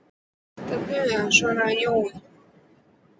Það ætti að duga, svaraði Jói.